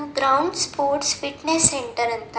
Browns sports fitness centre ಅಂತ.